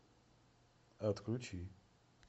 отключи